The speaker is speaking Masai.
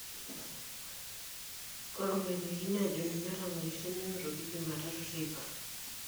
Ore oloitekini aajo ninye otang'orishie nenotoku jumatatu teipa.